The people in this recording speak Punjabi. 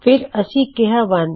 ਫਿਰ ਅਸੀਂ ਕਿਹਾ 1